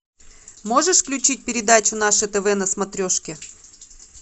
можешь включить передачу наше тв на смотрешке